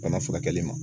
Bana furakɛli ma